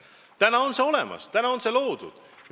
Täna on see meeskond olemas, täna on see loodud.